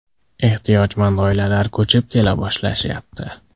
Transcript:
Ehtiyojmand oilalar ko‘chib kela boshlashyapti.